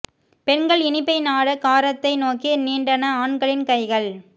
பெண்கள் இனிப்பை நாட காரத்தை நோக்கி நீண்டன ஆண்களின் கைகள்